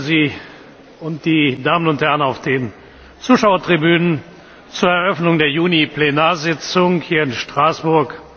Ich begrüße Sie und die Damen und Herren auf den Zuschauertribünen zur Eröffnung der Juni Plenarsitzung hier in Straßburg.